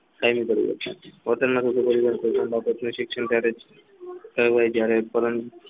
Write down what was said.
હોટલના થયું હોય ત્યારે